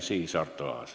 Siis saab sõna Arto Aas.